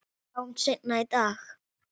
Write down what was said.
Sjáumst seinna í dag